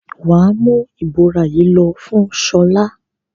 Wà á mú ìbora yìí lọ fún Ṣọlá!